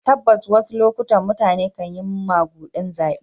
Tabbas, a wasu lokutan mutane kan yi magudin zabe.